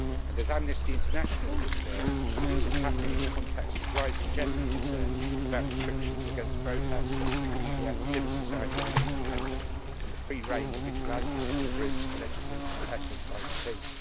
As Amnesty International has observed, this is happening in the context of a rising general concern about restrictions against protests, media and civil society within the country, and the free reign of vigilante groups allegedly unfettered by the police.